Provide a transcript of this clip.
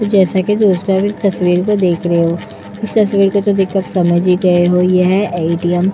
जैसे कि तस्वीर को देख रहे हो। इस तस्वीर को तो देख कर समझ ही गए हो यह एटीएम --